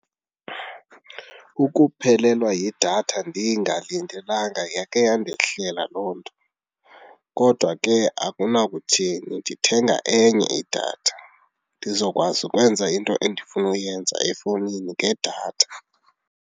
Ukuphelelwa yidatha ndingalindelanga yake yandehlela loo nto kodwa ke akunakuthini ndithenga enye idatha, ndizokwazi ukwenza into endifuna ukuyenza efowunini ngedatha.